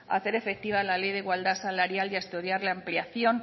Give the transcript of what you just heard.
a hacer efectiva la ley de igualdad salarial y a estudiar la ampliación